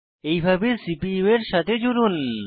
এইভাবে সিপিইউ এর সাথে জুড়ুন